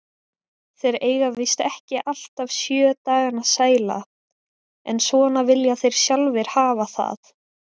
Þeir eiga víst ekki alltaf sjö dagana sæla, en svona vilja þeir sjálfir hafa það.